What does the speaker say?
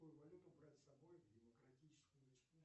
какую валюту брать с собой в демократическую республику